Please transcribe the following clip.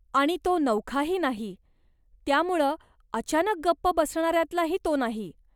आणि तो नवखाही नाही, त्यामुळं अचानक गप्प बसणाऱ्यांतलाही तो नाही.